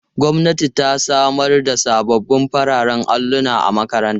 Gwamnati ta samar da sabbin fararen alluna na makarantar.